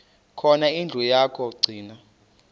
khona indlu yokagcina